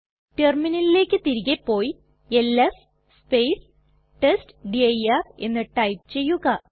റ്റെർമിനലിലെക് തിരികെ പോയി ls test dir എന്ന് ടൈപ്പ് ചെയ്യുക